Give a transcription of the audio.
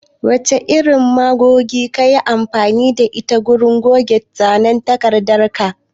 Wace irin magogi kayi amfani da ita wurin goge zanen takardar ka?